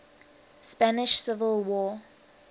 spanish civil war